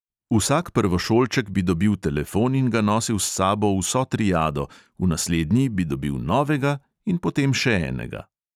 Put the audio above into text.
Vsak prvošolček bi dobil telefon in ga nosil s sabo vso triado, v naslednji bi dobil novega in potem še enega.